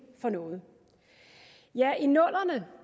for noget ja i nullerne